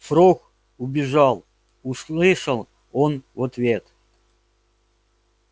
фрог убежал услышал он в ответ